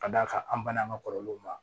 Ka d'a kan an banana an ka kɔrɔlenw ma